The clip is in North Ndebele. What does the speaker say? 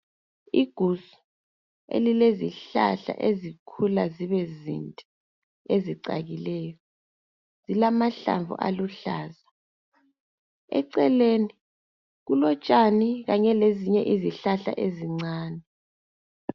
Igusu elilezihlahla ezikhula zibe zinde ezicakileyo. Zilamahlamvu aluhlaza. Eceleni kulotshani kanye lezinye izihlahla ezincane.